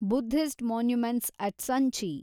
Buddhist monuments at Sanchi